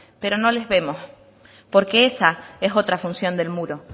pero no les vemos porque esa es otra función del muro